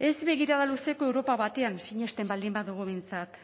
ez begirada luzeko europa batean sinesten baldin badugu behintzat